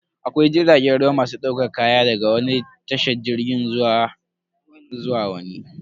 Akwai jiragen ruwa masu daukar kaya daga wani tashar jirgin ruwa zuwa wani.